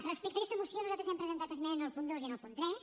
respecte a aquesta moció nosaltres hem presentat esmena al punt dos i al punt tres